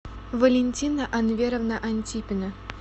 валентина анверовна антипина